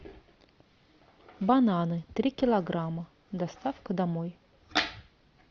бананы три килограмма доставка домой